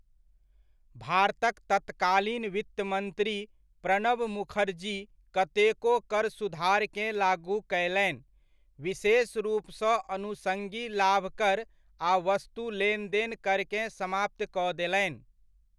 भारतक तत्कालीन वित्तमन्त्री प्रणब मुखर्जी कतेको कर सुधारकेँ लागू कयलनि, विशेष रूपसँ अनुषंगी लाभ कर आ वस्तु लेनदेन करकेँ समाप्त कऽ देलनि।